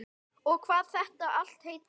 Og hvað þetta allt heitir.